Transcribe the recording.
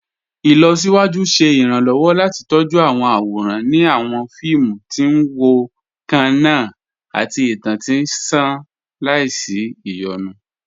Ilọ̀síwájú ṣẹ̀ iranlọ́wọ́ láti tọjú awọn awóran ni awọn fíìmù tí n wọ kanna àti ìtàn tí nṣàn làísí iyonú.